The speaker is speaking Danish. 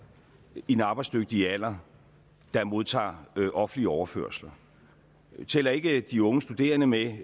i den arbejdsdygtige alder der modtager offentlig overførsel jeg tæller ikke de unge studerende med